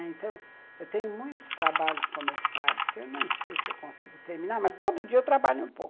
Então, eu tenho muitos trabalhos começados que eu nem sei se eu consigo terminar, mas todo dia eu trabalho um pouco.